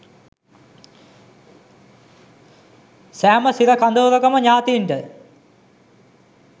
සෑම සිර කඳවුරකම ඥාතීන්ට